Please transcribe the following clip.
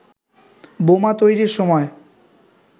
বোমা তৈরির সময়